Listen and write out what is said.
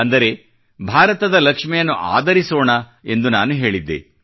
ಅಂದರೆ ಭಾರತದ ಲಕ್ಷ್ಮಿಯನ್ನು ಆದರಿಸೋಣ ಎಂದು ನಾನು ಹೇಳಿದ್ದೆ